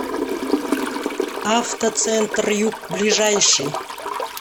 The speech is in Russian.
автоцентр юг ближайший